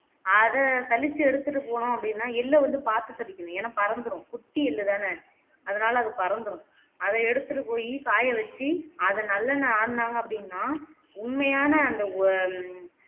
அத சலிச்சு எடுத்துட்டு போனோம் அப்படின்ன எள்ள வந்து பாத்து சலிக்கணும் ஏனா பறந்துரும் குட்டி எள்ளுதானே அதுனாலே அது பறந்துரும் அதை எடுத்துட்டு போய் காய வச்சு அத நல்லெண்ணை ஆடுனாங்க அப்படின்னா உண்மையான அந்த உ